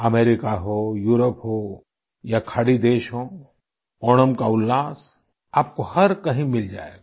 America हो Europe हो या खाड़ी देश हों ओणम का उल्लास आपको हर कहीं मिल जाएगा